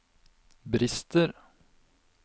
brister